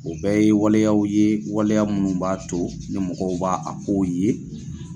O bɛɛ ye waleyaw ye waleya munnu b'a to ni mɔgɔw b'a kow ye